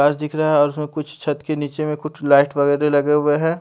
काँच दिख रहा है और उसमे कुछ छत के नीचे मे कुछ लाइट वगैरे लगे हुए है।